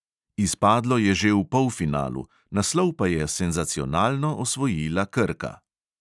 Izpadlo je že v polfinalu, naslov pa je senzacionalno osvojila krka.